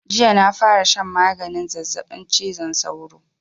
Jiya na fara shan maganin zazzaɓin cizon sauro